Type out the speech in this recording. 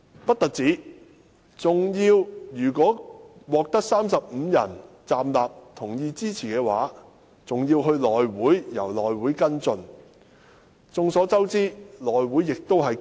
不單如此，如果獲得35人站立支持，事件還是要交由內務委員會跟進。